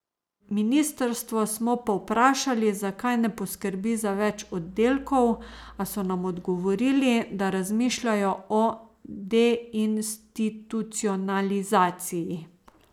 Ministrstvo smo povprašali, zakaj ne poskrbi za več oddelkov, a so nam odgovorili, da razmišljajo o deinstitucionalizaciji.